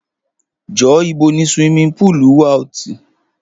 Jọ, ìbò ni ṣiwími púlú wa? Ọtí